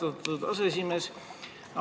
Aitäh, austatud aseesimees!